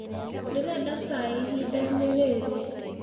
Ndĩrenda caĩ ĩhĩndaĩnĩ rĩrĩ.